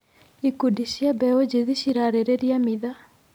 Ikundi cia mbeũ njĩthĩ cirarĩrĩria mitha.